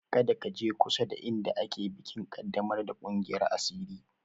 Kada ka je kusada inda ake bikin ƙaddamar da ƙungiyar asiri!